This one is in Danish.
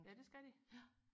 ja det skal de